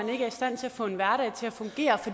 få en hverdag til at fungere